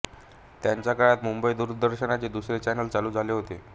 त्यांच्या काळात मुंबई दूरदर्शनचे दुसरे चॅनल चालू झाले होते